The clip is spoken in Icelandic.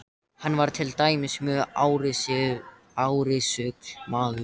Hann var til dæmis mjög árrisull maður.